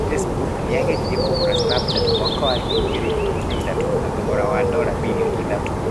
Facebook nĩ yageririe kũgũra Snapchat mwaka wa 2013, na thogora wa dora birioni ithatũ.